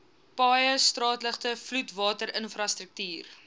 paaie straatligte vloedwaterinfrastruktuur